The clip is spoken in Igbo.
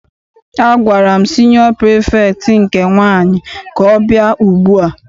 Agwara m siniọ pirifektị nke nwaanyị ka ọ bịa ugbua!